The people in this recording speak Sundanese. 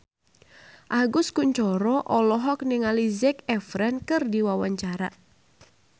Agus Kuncoro olohok ningali Zac Efron keur diwawancara